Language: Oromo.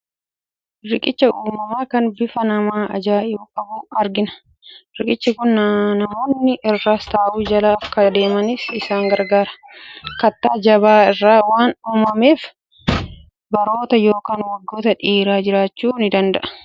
Riqicha uumamaa kan bifa nama ajaa'ibu qabu argina! Riqichi kun namoonni irras ta'u jala akka adeemaniif isaan gargaara. Kattaa jabaa irraa waan uumameef, baroota yookiin waggoota dheeraaf jiraachuu ni danda'a.